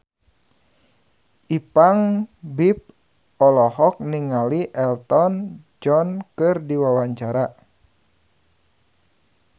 Ipank BIP olohok ningali Elton John keur diwawancara